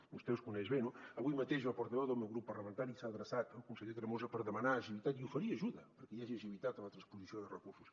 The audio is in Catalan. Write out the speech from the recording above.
vostè els coneix bé no avui mateix el portaveu del meu grup parlamentari s’ha adreçat al conseller tremosa per demanar agilitat i oferir ajuda perquè hi hagi agilitat en la transposició de recursos